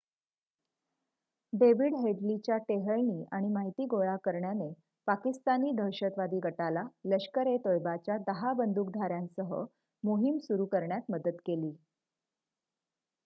David हेडलीच्या टेहळणी आणि माहिती गोळा करण्याने पाकिस्तानी दहशतवादी गटाला लष्कर-ए-तोयबाच्या १० बंदूकधाऱ्यांसह मोहीम सुरू करण्यात मदत केली